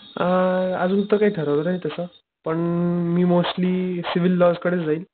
अ अजून तर काही ठरवलं नाही तस पण मी मोस्टली सिविल लॉज कडचं जाईल.